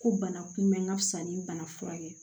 Ko bana kunbɛ n ka fisa ni bana furakɛ